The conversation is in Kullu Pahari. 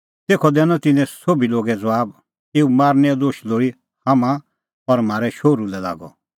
तेखअ दैनअ तिन्नैं सोभी लोगै ज़बाब एऊ मारनैओ दोश लोल़ी हाम्हां और म्हारै शोहरू लै लागअ